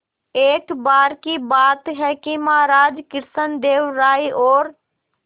एक बार की बात है कि महाराज कृष्णदेव राय और